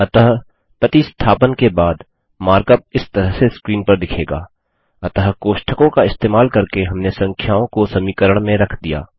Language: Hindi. अतः प्रतिस्थापन सब्स्टिटूशन के बाद मार्क अप इस तरह से स्क्रीन पर दिखेगा अतः कोष्ठकों का इस्तेमाल करके हमने संख्याओं को समीकरण में रख दिया